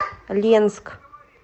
ленск